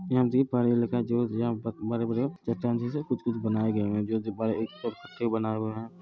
यहां देखिए बड़े-बड़े चट्टान जैसे कुछ-कुछ जो बड़े एक बनाए गए है।